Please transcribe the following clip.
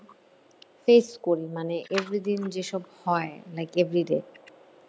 face করি মানে every দিন যেসব হয় like everyday